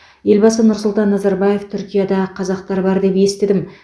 елбасы нұрсұлтан назарбаев түркияда қазақтар бар деп естідім